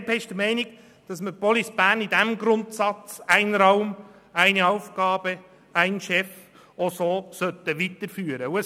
Die BDP ist der Meinung, dass man Police Bern mit dem Grundsatz «Ein Raum, eine Aufgabe, ein Chef» weiterführen sollte.